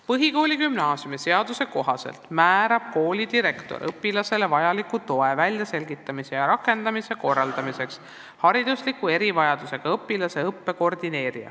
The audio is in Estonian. Põhikooli- ja gümnaasiumiseaduse kohaselt määrab kooli direktor õpilastele vajaliku toe väljaselgitamise ja rakendamise korraldamiseks haridusliku erivajadusega õpilaste õppe koordinaatori.